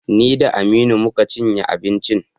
Ni da Aminu mu ka cinye abincin.